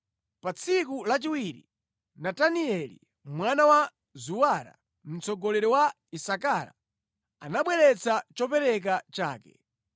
Pa tsiku lachiwiri, Natanieli mwana wa Zuwara, mtsogoleri wa Isakara, anabweretsa chopereka chake.